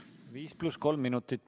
Viis pluss kolm minutit.